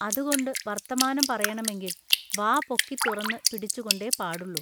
അതുകൊണ്ടു വൎത്തമാനം പറയെണമെങ്കിൽ വാ പൊക്കിതുറന്നു പിടിച്ചുകൊണ്ടെ പാടുള്ളു.